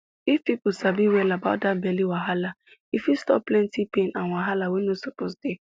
if people sabi well about that belly wahala e fit stop plenty pain and wahala wey no suppose dey